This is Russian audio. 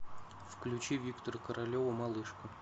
включи виктора королева малышка